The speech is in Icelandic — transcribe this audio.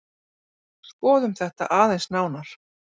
Skoðum þetta aðeins nánar.